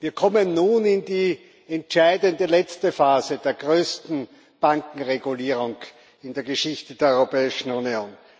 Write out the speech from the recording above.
Wir kommen nun in die entscheidende letzte Phase der größten Bankenregulierung in der Geschichte der Europäischen Union.